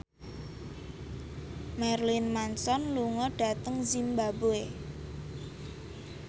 Marilyn Manson lunga dhateng zimbabwe